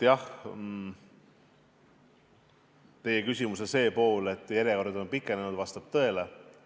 Jah, teie küsimuse see pool, et järjekorrad on pikenenud, vastab tõele.